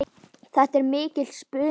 Þetta er mikill spuni.